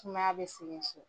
Sumaya bɛ ci.